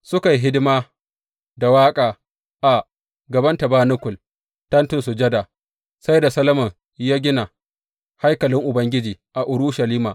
Suka yi hidima da waƙa a gaban tabanakul, Tentin Sujada, sai da Solomon ya gina haikalin Ubangiji a Urushalima.